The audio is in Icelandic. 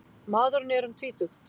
Maðurinn er um tvítugt